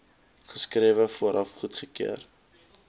geskrewe vooraf goedkeuring